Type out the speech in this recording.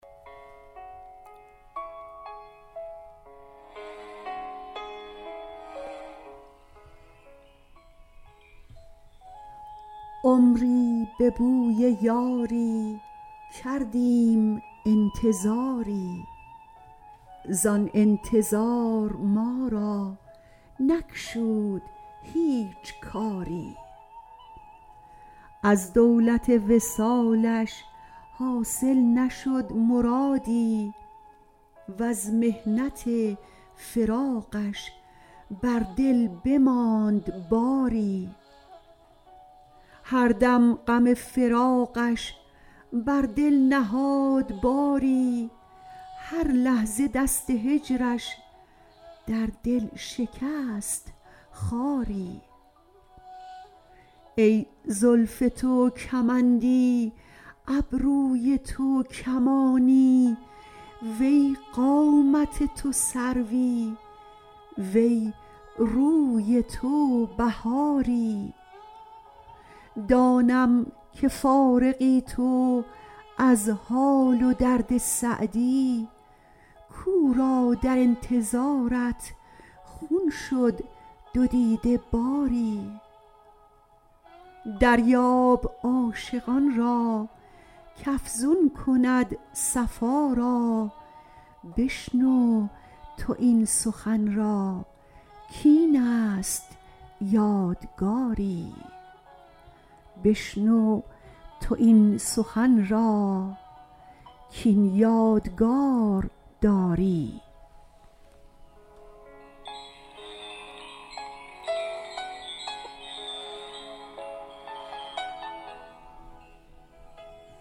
عمری به بوی یاری کردیم انتظاری زآن انتظار ما را نگشود هیچ کاری از دولت وصالش حاصل نشد مرادی وز محنت فراقش بر دل بماند باری هر دم غم فراقش بر دل نهاد باری هر لحظه دست هجرش در دل شکست خاری ای زلف تو کمندی ابروی تو کمانی وی قامت تو سروی وی روی تو بهاری دانم که فارغی تو از حال و درد سعدی کاو را در انتظارت خون شد دو دیده باری دریاب عاشقان را کافزون کند صفا را بشنو تو این سخن را کاین یادگار داری